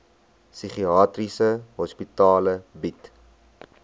psigiatriese hospitale bied